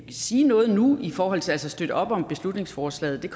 sige noget nu i forhold til at støtte op om beslutningsforslaget